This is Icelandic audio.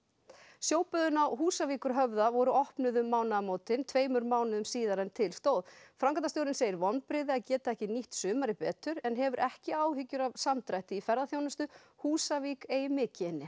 sjóböðin á Húsavíkurhöfða voru opnuð um mánaðamótin tveimur mánuðum síðar en til stóð framkvæmdastjórinn segir vonbrigði að geta ekki nýtt sumarið betur en hefur ekki áhyggjur af samdrætti í ferðaþjónustu Húsavík eigi mikið inni